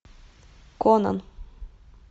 конан